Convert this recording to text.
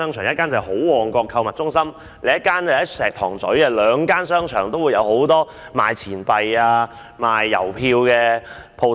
一間是好旺角購物中心，另一間在石塘咀，兩間商場都有很多售賣錢幣和郵票的店鋪。